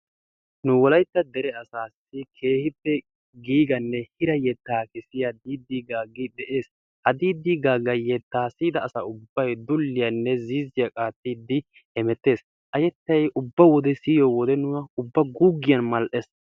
Nu wolaytta deree asaassi keehippe giigganne hira yettaa kessiya Diddi Gaagi de'ees. Diddi Gaagga yettaa siyida asa ubbay dulliyanne ziizziyaa qaattidi hemettees. A yettay ubba wode siyiyo wode nuna ubba guuggiyan mal'ees.